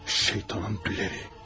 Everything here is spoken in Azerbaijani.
Şeytanın bəlalı.